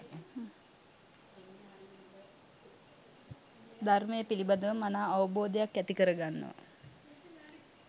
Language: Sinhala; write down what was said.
ධර්මය පිළිබඳව මනා අවබෝධයක් ඇති කරගන්නවා.